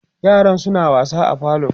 yaran suna wasa a falo